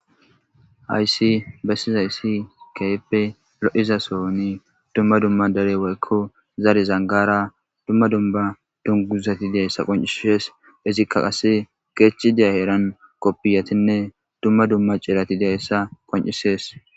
Hayssi bessizaysi keehippe lo'iza sooni dumma dumma dere woyko zare zangaara dumma dumma dunguzati de'izayssa qoncises izika qase keethi diya heeran kopiyatinne dumma cirati dizayssa qoncises.